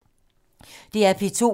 DR P2